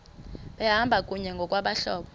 behamba kunye ngokwabahlobo